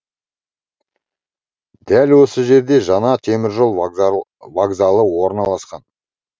дәл осы жерде жаңа теміржол вокзалы вокзалы орналасқан